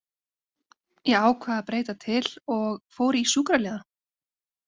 Ég ákvað að breyta til og fór í sjúkraliðann.